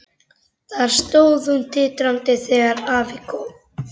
Þar stóð hún titrandi þegar afi kom.